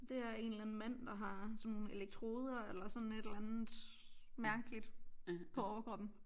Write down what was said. Det her er en eller anden mand der har sådan nogle elektroder eller sådan et eller andet mærkeligt på overkroppen